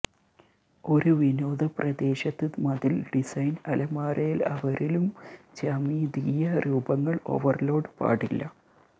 ഒരു വിനോദ പ്രദേശത്ത് മതിൽ ഡിസൈൻ അലമാരയിൽ അവരിലും ജ്യാമിതീയ രൂപങ്ങൾ ഓവർലോഡ് പാടില്ല